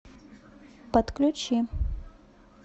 подключи